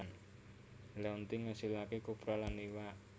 Laonti ngasilaké kopra lan iwak